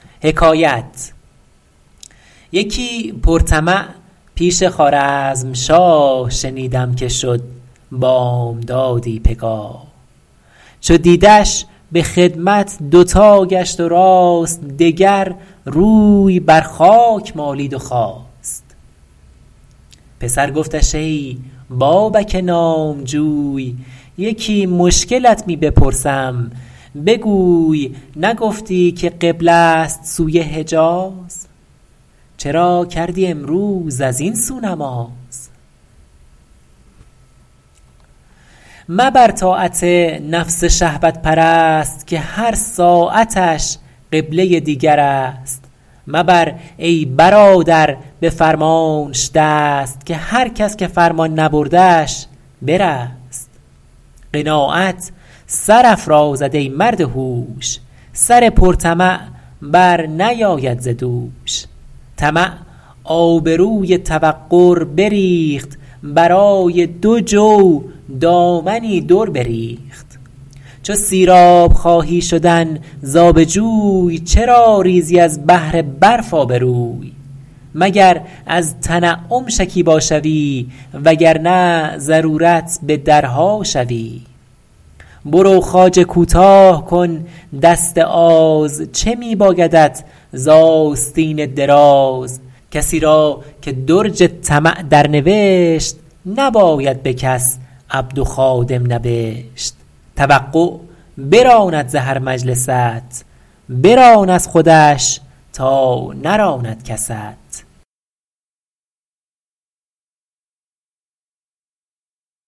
یکی پر طمع پیش خوارزمشاه شنیدم که شد بامدادی پگاه چو دیدش به خدمت دوتا گشت و راست دگر روی بر خاک مالید و خاست پسر گفتش ای بابک نامجوی یکی مشکلت می بپرسم بگوی نگفتی که قبله ست سوی حجاز چرا کردی امروز از این سو نماز مبر طاعت نفس شهوت پرست که هر ساعتش قبله دیگر است مبر ای برادر به فرمانش دست که هر کس که فرمان نبردش برست قناعت سرافرازد ای مرد هوش سر پر طمع بر نیاید ز دوش طمع آبروی توقر بریخت برای دو جو دامنی در بریخت چو سیراب خواهی شدن ز آب جوی چرا ریزی از بهر برف آبروی مگر از تنعم شکیبا شوی وگرنه ضرورت به درها شوی برو خواجه کوتاه کن دست آز چه می بایدت ز آستین دراز کسی را که درج طمع در نوشت نباید به کس عبد و خادم نبشت توقع براند ز هر مجلست بران از خودش تا نراند کست